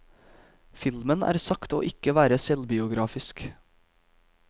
Filmen er sagt å ikke være selvbiografisk.